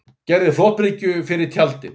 Gerði flotbryggju fyrir tjaldinn